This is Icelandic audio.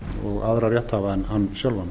og aðra rétthafa en hann sjálfan